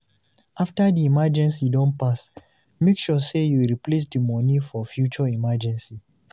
After di emeegency don pass, make sure sey you replace di money for future emergency